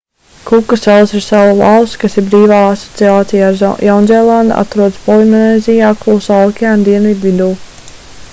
kuka salas ir salu valsts kas ir brīvā asociācijā ar jaunzēlandi atrodas polinēzijā klusā okeāna dienvidu vidū